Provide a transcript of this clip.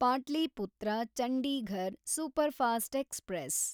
Pataliputra Chandigarh superfast express